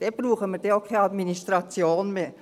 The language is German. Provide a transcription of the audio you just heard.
– Dann brauchen wir auch keine Administration mehr.